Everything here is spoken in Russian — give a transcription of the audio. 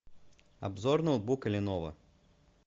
обзор ноутбука леново